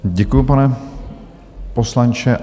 Děkuji, pane poslanče.